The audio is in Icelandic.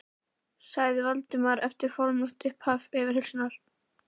sagði Valdimar eftir formlegt upphaf yfirheyrslunnar.